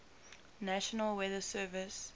national weather service